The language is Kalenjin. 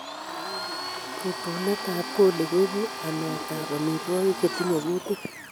Rutuneet ab coli koibu ameet ab omitwogik chetinye kuutik